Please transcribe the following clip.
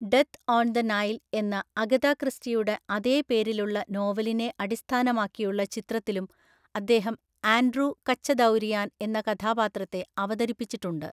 Death on the Nile എന്ന, Agatha ക്രിസ്റ്റിയുടെ അതേ പേരിലുള്ള നോവലിനെ അടിസ്ഥാനമാക്കിയുള്ള ചിത്രത്തിലും അദ്ദേഹം ആൻഡ്രൂ കച്ചദൗരിയാൻ എന്ന കഥാപാത്രത്തെ അവതരിപ്പിച്ചിട്ടുണ്ട്.